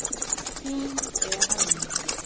Þín, Eva Líf.